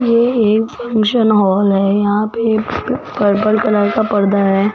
ये एक function hall है यहां पे पर्पल कलर का परदा है।